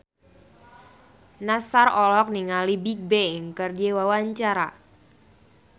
Nassar olohok ningali Bigbang keur diwawancara